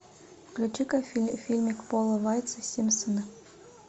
включи ка фильмик пола уайтса симпсоны